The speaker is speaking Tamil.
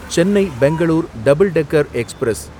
Chennai Bangalore double decker express